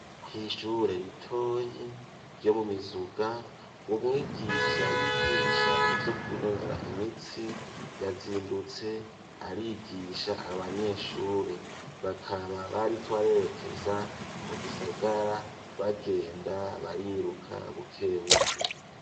Kw'ishure ritoyi ryo mu Mizuga umwigisha yigisha ivyo kwinonora imitsi yazindutse arigisha abanyeshure, bakaba bariko barerekeza mu gisagara bagenda bariruka bukebuke.